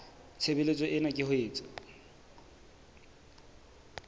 tshebeletso ena ke ho etsa